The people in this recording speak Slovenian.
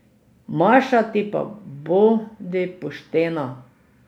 Maša, ti pa bodi poštena.